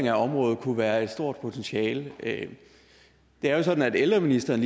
af området kunne have et stort potentiale det er jo sådan at ældreministeren